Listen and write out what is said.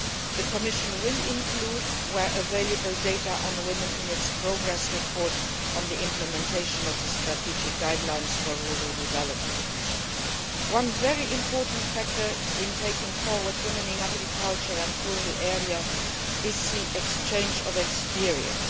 The Commission will include, where available, data on women in its progress report on the implementation of the strategic guidelines for rural development. One very important factor in taking women forward in agriculture and rural areas is the exchange of experience.